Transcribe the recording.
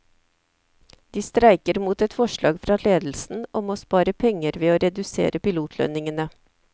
De streiker mot et forslag fra ledelsen om å spare penger ved å redusere pilotlønningene.